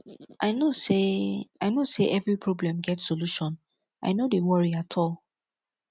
i know sey i know sey every problem get solution i no dey worry at all